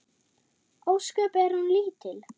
Ósköp er hún lítil.